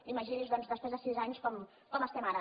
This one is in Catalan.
imagini’s doncs després de sis anys com estem ara